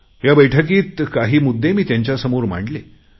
या बैठकीत काही मुद्दे मी त्यांच्या समोर मांडले